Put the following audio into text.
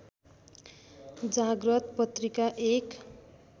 जाग्रत पत्रिका एक